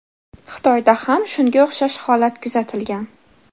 Xitoyda ham shunga o‘xshash holat kuzatilgan.